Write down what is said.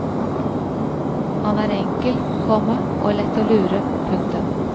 Han er enkel, komma og lett å lure. punktum